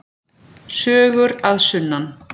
Sögur að sunnan.